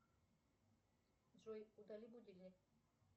джой удали будильник